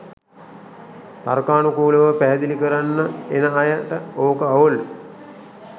තර්කානුකූලව පැහැදිලි කරන්න එන අයට ඕක අවුල්.